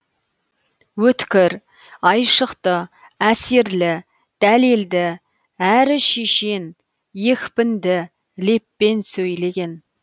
өткір айшықты әсерлі дәлелді әрі шешен екпінді леппен сөйлеген